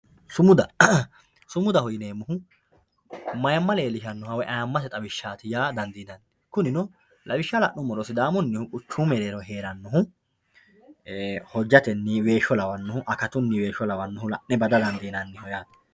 Sumuda, sumuda yineemohu mayimma leellishanoho woyi ayyimmatte xawishatti yaa dandinanni kunino lawisha la'numoro sidaamunnihu quchumu merreerro heeranohu hojatenni weesho lawanohu akatunni weesho lawanohu la'ne bada danfinannihu yaate